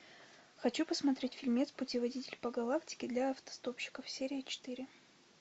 хочу посмотреть фильмец путеводитель по галактике для автостопщиков серия четыре